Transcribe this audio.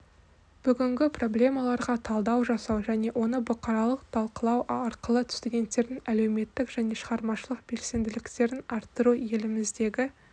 бүгінгі проблемаларға талдау жасау және оны бұқаралық талқылау арқылы студенттердің әлеуметтік және шығармашылық белсенділіктерін арттыру еліміздегі